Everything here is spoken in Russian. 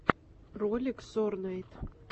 ролик сорнайд